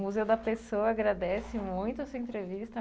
O Museu da Pessoa agradece muito a sua entrevista.